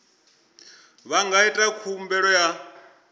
vha nga ita khumbelo ya